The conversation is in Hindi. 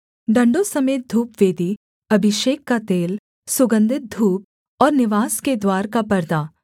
डण्डों समेत धूपवेदी अभिषेक का तेल सुगन्धित धूप और निवास के द्वार का परदा